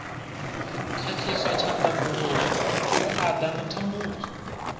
khakhiswa tshanḓanguvhoni vhuaḓa na thambudzo